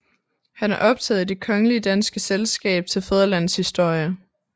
Han er optaget i Det Kongelige Danske Selskab til Fædrelandets Historie